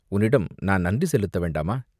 உன்னிடம் நான் நன்றி செலுத்த வேண்டாமா?